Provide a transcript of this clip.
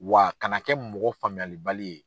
W'a kana kɛ mɔgɔ faamuyalibali ye.